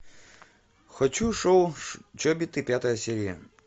хочу шоу чобиты пятая серия